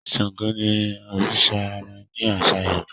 Ṣàngó ní oriṣa ãrá ni aṣa Yorùbá